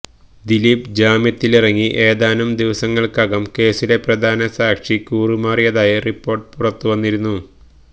ദിലീപ് ജാമ്യത്തിലിറങ്ങി ഏതാനും ദിവസങ്ങള്ക്കകം കേസിലെ പ്രധാന സാക്ഷി കൂറുമാറിയതായി റിപ്പോര്ട്ട് പുറത്തുവന്നിരുന്നു